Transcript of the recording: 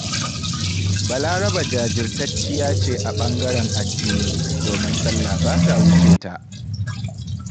Balaraba jajirtacciya ce a ɓangaren addini, domin sallah ba ta wuce ta.